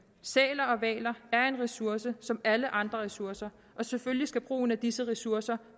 sæler og hvaler er en ressource som alle andre ressourcer og selvfølgelig skal brugen af disse ressourcer